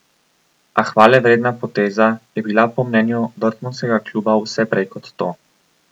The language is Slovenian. A hvale vredna poteza je bila po mnenju dortmundskega kluba vse prej kot to.